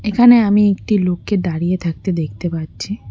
এখানে আমি একটি লোককে দাঁড়িয়ে থাকতে দেখতে পাচ্ছি।